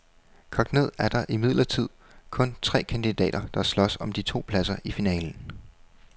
Kogt ned er der imidlertid kun tre kandidater, der slås om de to pladser i finalen.